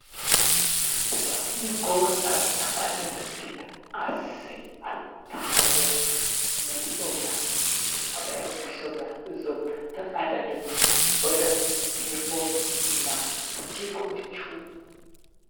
ብጣዕ ሚጎዛ እተቓዳ ድምቲ ኣሰይ ኣተሓጐስ መዲኦምና ብጥዕሜሕጕሶምና እዞም ተቓዳ ድምቲ በዳቱ ሄርቦ እና ቡቴጎ መችው።